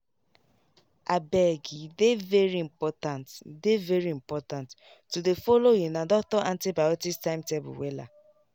abege dey very important dey very important to dey follow una doctor antibiotics timetable wella.